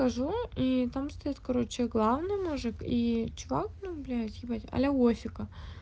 хожу и потому что я короче главное мужик и чувак ну блять уазика